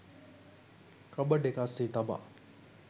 cupboard එක අස්සේ තබා